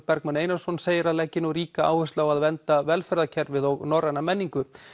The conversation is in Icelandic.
Bergmann Einarsson segir að leggi nú ríka áherslu á að vernda velferðarkerfið og norræna menningu